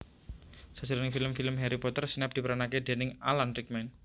Sajroning film film Harry Potter Snape diperanake déning Alan Rickman